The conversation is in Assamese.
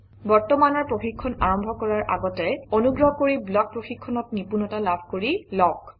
বৰ্তমানৰ প্ৰশিক্ষণ আৰম্ভ কৰাৰ আগতে অনুগ্ৰহ কৰি ব্লক প্ৰশিক্ষণত নিপুণতা লাভ কৰি লওক